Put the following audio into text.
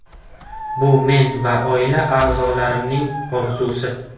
Bu men va oila a’zolarimning orzusi.